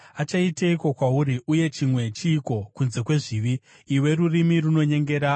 Achaiteiko kwauri, uye chimwe chiiko kunze kwezvizvi, iwe rurimi runonyengera?